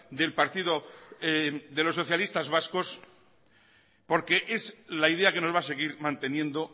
del partido de los socialistas vascos porque es la idea que nos va a seguir manteniendo